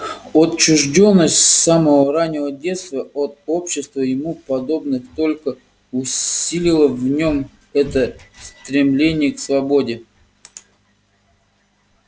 отчуждённость с самого раннего детства от общества ему подобных только усилила в нём это стремление к свободе